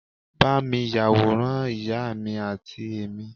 ba mi yaworan ìyá mi ati emi